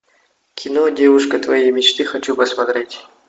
кино девушка твоей мечты хочу посмотреть